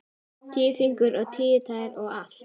Tíu fingur og tíu tær og allt.